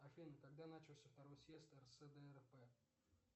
афина когда начался второй съезд рсдрп